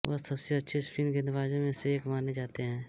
वह सबसे अच्छे स्पिन गेंदबाजों में से एक माने जाते हैं